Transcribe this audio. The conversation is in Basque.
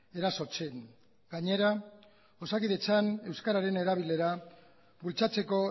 erasotzen gainera osakidetzan euskeraren erabilera bultzatzeko